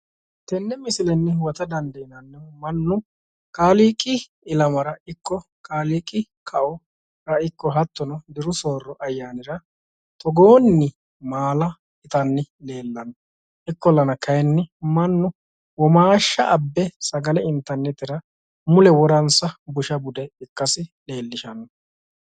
Tenne misilenni huwata dandiinannihu mannu kaaliiqi ilamara ikko kaaliiqi kao ikko hattono diru soorro ayyaanira togoonni maala itanni leellanno. Ikkollaa kaayiinni womaashsha abbe sagale intannitera woransa busha bude ikkasi leellishshanno.